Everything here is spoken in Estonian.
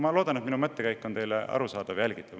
Ma loodan, et minu mõttekäik on teile arusaadav ja jälgitav.